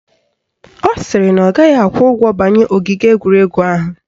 Ọ sịrị na ọ gaghị akwụ ụgwọ banye ogige egwuregwu ahụ